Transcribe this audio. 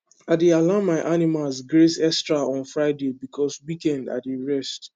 i dey allow my animals graze extra on friday because weekend i dey rest